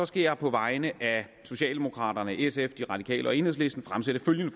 skal jeg på vegne af socialdemokraterne sf de radikale og enhedslisten fremsætte følgende